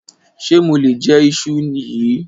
Ṣe mo lè je íṣu yìí?